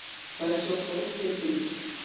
Það er svo góð tilfinning.